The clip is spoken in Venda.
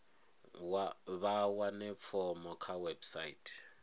vha wane fomo kha website